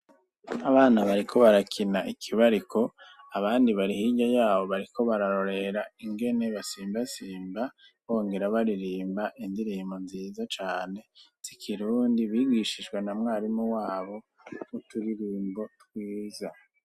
Abana bariko barakina ikibariko abandi bari hirya yabo bariko bararorera ingene basimbasimba bongera baririmba indirimbo nziza cane si kirundi bigishijwe na mwarimu wabo ku turirimbo twiza.